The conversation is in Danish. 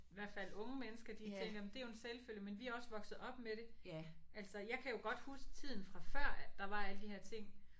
Hvert fald unge mennesker de tænker jamen det er jo en selvfølge men de er også vokset op med det. Altså jeg kan jo godt huske tiden fra før der var alle de her ting